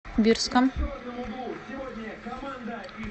бирском